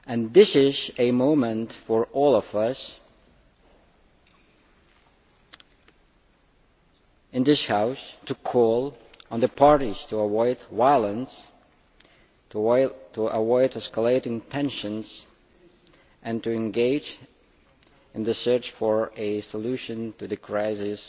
This is a moment for all of us in this House to call on the parties to avoid violence and escalating tensions and to engage in the search for a solution to the crisis